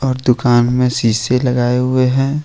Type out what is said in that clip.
और दुकान में शीशे लगाए हुए हैं।